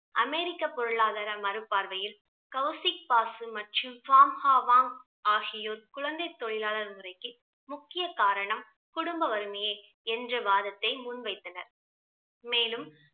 அமெரிக்க பொருளாதார மறுப்பார்வையில் கௌசிக் பாசு மற்றும் ஆகியோர் குழந்தை தொழிலாளர் முறைக்கு முக்கிய காரணம் குடும்ப வறுமையே என்ற வாதத்தை முன் வைத்தனர். மேலும்